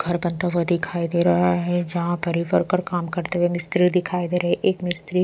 घर बंता हुआ दिखाइ दे रहा है जहाँ पर ये वर्कर काम करते हुए मिस्त्री दिखाइ दे रहे एक मिस्त्री--